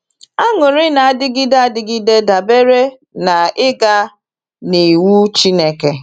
Anụrị na-adịgide adịgide dabere n’ịga n’iwu Chineke.